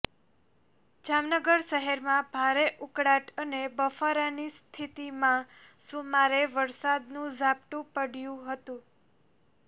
જામનગર શહેરમાં ભારે ઉકળાટ અને બફારાની સ્થિતિમાં સુમારે વરસાદનું ઝાપટું પડયું હતું